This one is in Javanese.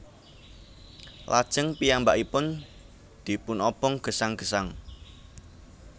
Lajeng piyambakipun dipunobong gesang gesang